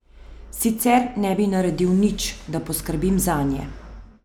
Sicer ne bi naredil nič, da poskrbim zanje.